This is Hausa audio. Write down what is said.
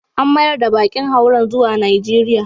An mayar da bakin hauren zuwa Najeriya.